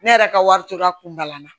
Ne yɛrɛ ka wari tora kunba la